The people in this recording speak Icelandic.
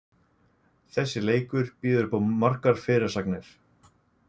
Þessi leikur býður uppá margar fyrirsagnir.